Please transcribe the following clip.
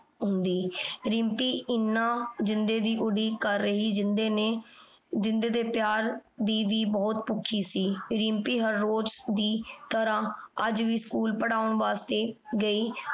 ਹੁੰਦੀ ਰਿਮ੍ਪੀ ਏਨਾ ਜਿੰਦੇ ਦੀ ਉਡੀਕ ਕਰ ਰੀ ਜਿੰਦੇ ਨੇ ਜਿੰਦੇ ਦੇ ਪਯਾਰ ਦੀ ਵੀ ਪੁਖੀ ਸੀ ਰਿਮ੍ਪੀ ਨੇ ਰੋਜ਼ ਦੀ ਤਰਹ ਸਕੂਲ ਪਰ੍ਹਾਉਣ ਵਾਸਤੇ ਗਈ